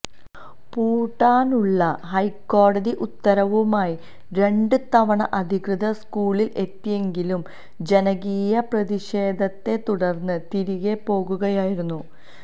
പൂട്ടാനുള്ള ഹൈക്കോടതി ഉത്തരവുമായി രണ്ട് തവണ അധികൃതര് സ്കൂളില് എത്തിയെങ്കിലും ജനകീയ പ്രതിഷേധത്തെ തുടര്ന്ന് തിരികെ പോകുകയായിരുന്നു